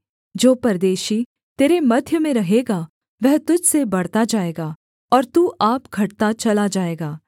जो परदेशी तेरे मध्य में रहेगा वह तुझ से बढ़ता जाएगा और तू आप घटता चला जाएगा